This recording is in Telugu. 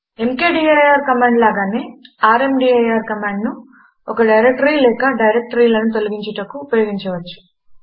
ఎంకేడీఐఆర్ కమాండు లాగానే ర్మదీర్ కమాండును ఒక డైరెక్టరీ లేక డైరెక్టరీలను తొలగించుటకు ఉపయోగించవచ్చు